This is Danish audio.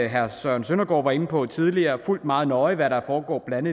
herre søren søndergaard var inde på tidligere meget nøje fulgt hvad der foregår blandt